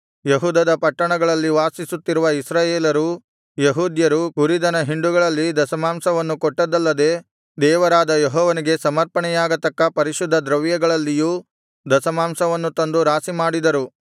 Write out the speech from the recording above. ಯೆಹೂದದ ಪಟ್ಟಣಗಳಲ್ಲಿ ವಾಸಿಸುತ್ತಿರುವ ಇಸ್ರಾಯೇಲರೂ ಯೆಹೂದ್ಯರೂ ಕುರಿದನ ಹಿಂಡುಗಳಲ್ಲಿ ದಶಮಾಂಶವನ್ನು ಕೊಟ್ಟದ್ದಲ್ಲದೆ ದೇವರಾದ ಯೆಹೋವನಿಗೆ ಸಮರ್ಪಣೆಯಾಗತಕ್ಕ ಪರಿಶುದ್ಧ ದ್ರವ್ಯಗಳಲ್ಲಿಯೂ ದಶಮಾಂಶವನ್ನು ತಂದು ರಾಶಿಮಾಡಿದರು